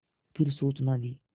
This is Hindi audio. फिर सूचना दी